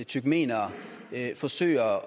turkmenere forsøger